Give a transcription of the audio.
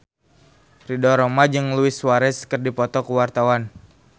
Ridho Roma jeung Luis Suarez keur dipoto ku wartawan